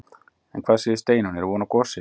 En hvað segir Steinunn, er von á gosi?